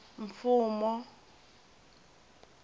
mfumo